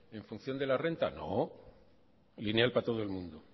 en función de la renta no lineal para todo el mundo